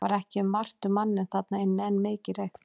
Það var ekki margt um manninn þarna inni en mikið reykt.